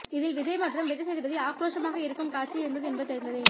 இதில் விஜய் மற்றும் விஜய் சேதுபதி ஆக்ரோஷமாக இருக்கும் காட்சி இருந்தது என்பது தெரிந்ததே